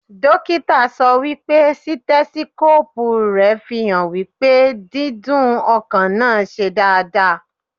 Dókítà sọ wípé Sítẹ́síkópù rẹ̀ fi hàn wípé dídún ọkàn náà ṣe dáadáa.